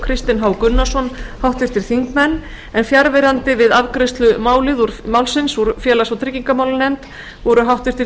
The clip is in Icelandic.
kristinn h gunnarsson háttvirtir þingmenn fjarverandi við afgreiðslu málsins úr félags og tryggingamálanefnd voru háttvirtir